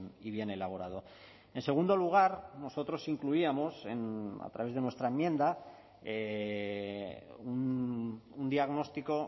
y bien elaborado en segundo lugar nosotros incluíamos a través de nuestra enmienda un diagnóstico